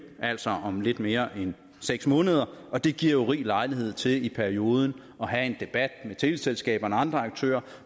altså om lidt mere end seks måneder og det giver jo rig lejlighed til i perioden at have en debat med teleselskaberne og andre aktører